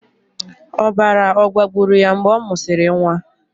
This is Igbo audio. Ọbara ọ̀ gbagburu ya mgbe ọ mụsịrị nwa?